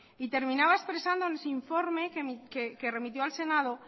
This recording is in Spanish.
y terminaba expresando en su informe que remitió al senado